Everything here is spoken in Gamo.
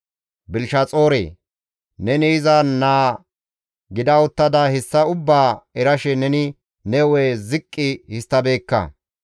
«Belishaxoore! Neni iza naa gida uttada hessa ubbaa erashe neni nena ziqqi histtabeekka.